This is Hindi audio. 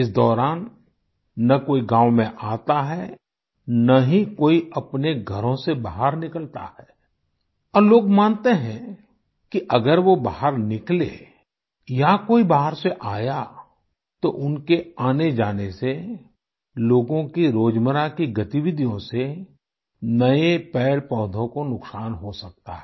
इस दौरान न कोई गाँव में आता है न ही कोई अपने घरों से बाहर निकलता है और लोग मानते हैं कि अगर वो बाहर निकले या कोई बाहर से आया तो उनके आनेजाने से लोगों की रोजमर्रा की गतिविधियों से नए पेड़पौधों को नुकसान हो सकता है